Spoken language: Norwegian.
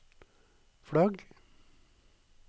flagg